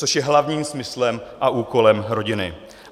Což je hlavním smyslem a úkolem rodiny.